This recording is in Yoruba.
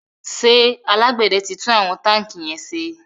ṣe alágbède tí tún àwọn tanki yén ṣe?